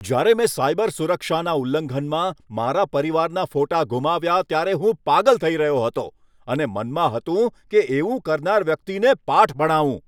જ્યારે મેં સાયબર સુરક્ષાના ઉલ્લંઘનમાં મારા પરિવારના ફોટા ગુમાવ્યા ત્યારે હું પાગલ થઈ રહ્યો હતો અને મનમાં હતું કે એવું કરનાર વ્યક્તિને પાઠ ભણાવું.